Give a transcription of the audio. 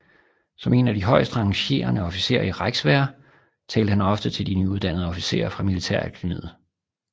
Som en af de højest rangerende officerer i Reichswehr talte han ofte til de nyuddannede officerer fra militærakademiet